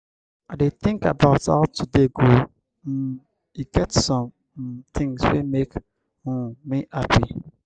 i dey tink about how today go um e get some um tins wey make um me hapi.